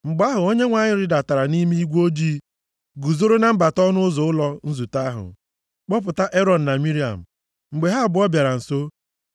Mgbe ahụ, Onyenwe anyị rịdatara nʼime igwe ojii, guzoro na mbata ọnụ ụzọ ụlọ nzute ahụ, kpọpụta Erọn na Miriam. Mgbe ha abụọ bịara nso.